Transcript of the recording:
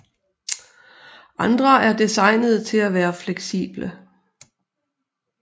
Andre er designet til at være fleksible